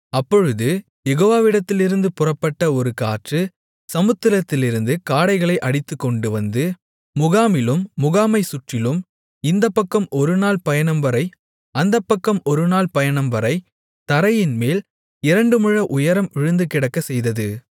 அப்பொழுது யெகோவாவிடத்திலிருந்து புறப்பட்ட ஒரு காற்று சமுத்திரத்திலிருந்து காடைகளை அடித்துக்கொண்டுவந்து முகாமிலும் முகாமைச் சுற்றிலும் இந்தப்பக்கம் ஒரு நாள் பயணம்வரை அந்தப்பக்கம் ஒரு நாள் பயணம்வரை தரையின்மேல் இரண்டு முழ உயரம் விழுந்துகிடக்கச் செய்தது